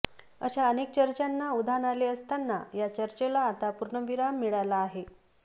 अशा अनेक चर्चांना उधाण आले असताना या चर्चेला आता पूर्णविराम मिळाला आहे